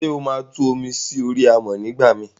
sé óma Tú omi sori amọ nigbamii?